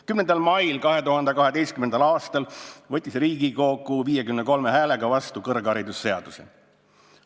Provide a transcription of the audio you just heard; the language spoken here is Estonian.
10. mail 2012. aastal võttis Riigikogu 53 häälega vastu kõrgharidusseaduse.